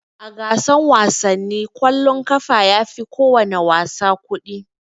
A gasan wasanni kwallon ƙafa yafi kowana wasa kuɗi.